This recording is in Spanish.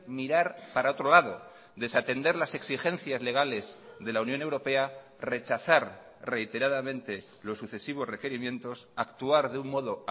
mirar para otro lado desatender las exigencias legales de la unión europea rechazar reiteradamente los sucesivos requerimientos actuar de un modo